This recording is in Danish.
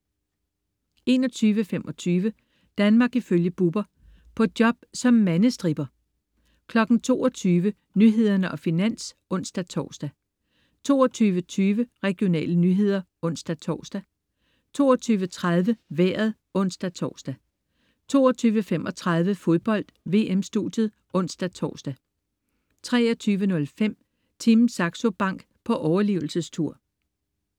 21.25 Danmark ifølge Bubber. På job som mandestripper 22.00 Nyhederne og Finans (ons-tors) 22.20 Regionale nyheder (ons-tors) 22.30 Vejret (ons-tors) 22.35 Fodbold: VM-studiet (ons-tors) 23.05 Team Saxo Bank på overlevelsestur